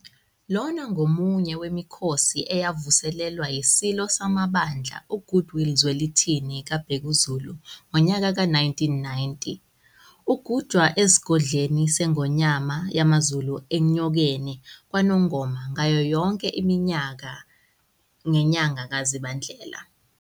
Lona ngomunye wemikhosi eyavuselelwa iSilo samaBandla uGoodwill Zwelithini kaBhekuzulu, ngonyaka we-1990. ugujwa esigodlweni seNgonyama yamaZulu Enyokeni kwaNongoma ngayo yonke iminyaka ngenyaka kaZibandlela.